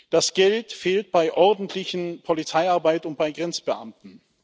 Das Geld fehlt bei ordentlicher Polizeiarbeit und bei Grenzbeamten.